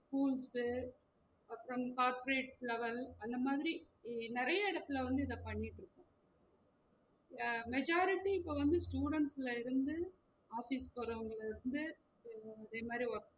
schools அப்றம் corporate level அந்த மாதிரி நிறைய எடத்துல வந்து இத பண்ணிட்ருக்கோம், அஹ் majority இப்ப வந்து students ல இருந்து office போறவங்கள்ள இருந்து இதே மாதிரி work